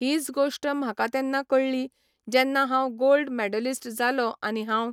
हीच गोश्ट म्हाका तेन्ना कळ्ळी जेन्ना हांव गोल्ड मेडलिस्ट जालो आनी हांव